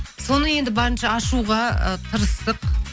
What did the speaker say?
соны енді барынша ашуға ы тырыстық